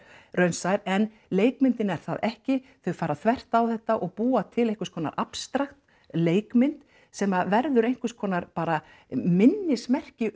raunsær en leikmyndin er það ekki þau fara þvert á þetta og búa til einhvers konar abstrakt leikmynd sem að verður einhvers konar bara minnismerki